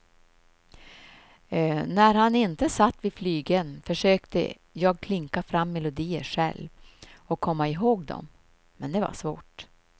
När han inte satt vid flygeln försökte jag klinka fram melodier själv och komma ihåg dom, men det var svårt.